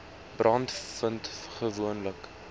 brande vind gewoonlik